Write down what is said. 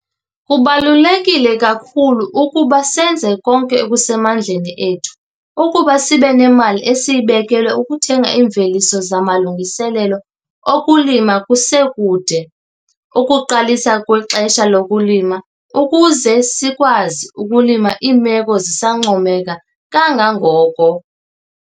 Kubaluleke kakhulu ukuba senze konke okusemandleni ethu ukuba sibe nemali eseyibekelwe ukuthenga iimveliso zamalungiselelo okulima kusekude ukuqalisa kwexesha lokulima ukuze sikwazi ukulima iimeko zisancomeka kangangoko.